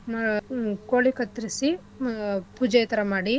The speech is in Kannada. ಆಹ್ ಉ ಕೋಳಿ ಕತ್ತರ್ಸಿ ಆಹ್ ಪೂಜೆಥರಾ ಮಾಡಿ.